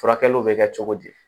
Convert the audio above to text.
Furakɛliw bɛ kɛ cogo di